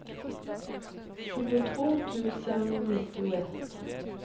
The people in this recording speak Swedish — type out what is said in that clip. tjugotvå tusen nittioett